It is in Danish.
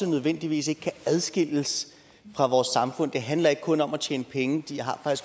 nødvendigvis ikke kan adskilles fra vores samfund det handler ikke kun om at tjene penge de har